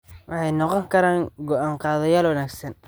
Waxay noqon karaan go'aan-qaadayaal wanaagsan.